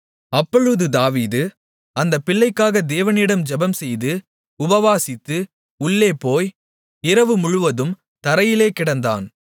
அப்பொழுது யெகோவா அந்தப் பிள்ளைக்காக தேவனிடம் ஜெபம்செய்து உபவாசித்து உள்ளே போய் இரவு முழுவதும் தரையிலே கிடந்தான்